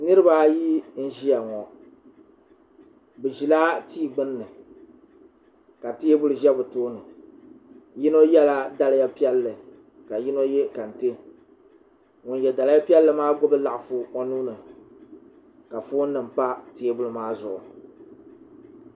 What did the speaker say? niraba ayi n ʒiya ŋo bi ʒila tia gbunni ka teebuli ʒɛ bi tooni yino yɛla daliya piɛlli ka yino yɛ kɛntɛ ŋun yɛ daliya piɛlli maa gbubi laɣafu o nuuni ka foon nim pa teebuli